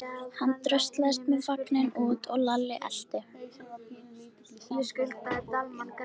Hann dröslaðist með vagninn út og Lalli elti.